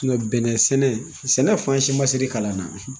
Iyɔd bɛnɛ selen, sɛgɛ fan si ma se ne kalanna.